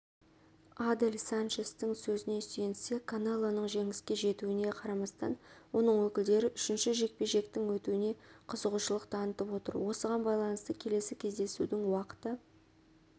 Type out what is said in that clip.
адель санчестің сөзіне сүйенсек канелоның жеңіске жеткеніне қарамастан оның өкілдері үшінші жекпе-жектің өтуіне қызығушылық танытып отыр осыған байланысты келесі кездесудің уақыты